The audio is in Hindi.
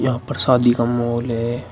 पर शादी का माहौल है।